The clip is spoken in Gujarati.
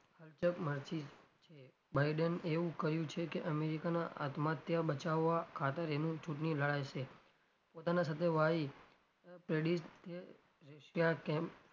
culture માંથી છે biden એવું કહ્યું છે કે america ના આત્મહત્યા બચાવવા ખાતર એનું ચુંટણી લડાશે પોતાના સાથે russia કેમ,